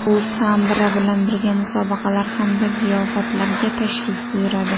U Sandra bilan birga musobaqalar hamda ziyofatlarga tashrif buyuradi.